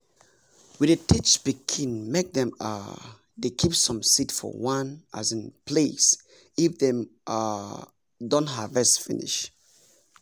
we dey teach pikin make dem um dey keep some seeds for one um place if dem um don harvest finish